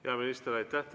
Hea minister, aitäh!